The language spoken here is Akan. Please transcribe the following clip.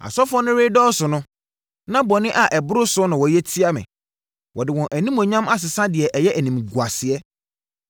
Asɔfoɔ no redɔɔso no na bɔne a ɛboro soɔ na wɔyɛ tia me. Wɔde wɔn Animuonyam asesa deɛ ɛyɛ animguaseɛ.